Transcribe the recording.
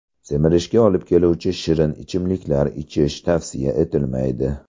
Semirishga olib keluvchi shirin ichimliklar ichish tavsiya etilmaydi.